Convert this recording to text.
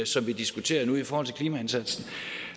som vi diskuterer nu nemlig i forhold til klimaindsatsen